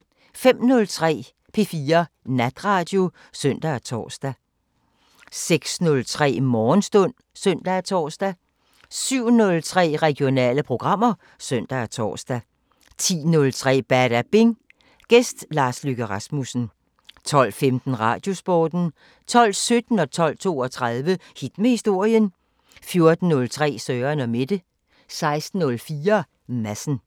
05:03: P4 Natradio (søn og tor) 06:03: Morgenstund (søn og tor) 07:03: Regionale programmer (søn og tor) 10:03: Badabing: Gæst Lars Løkke Rasmussen 12:15: Radiosporten 12:17: Hit med historien 12:32: Hit med historien 14:03: Søren & Mette 16:04: Madsen